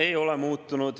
Ei ole muutunud.